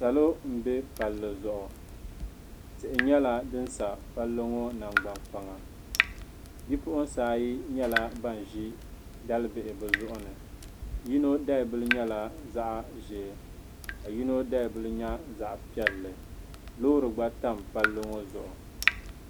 Salo m-be palli zuɣu tihi nyɛla din sa palli ŋɔ nangban'kpaŋa bi'puɣinsi ayi nyɛla ban ʒi dalibihi bɛ zuɣu ni yino dalibila nyɛla zaɣ'ʒee ka yino dalibila nyɛ zaɣ'piɛlli loori gba tam palli ŋɔ zuɣu.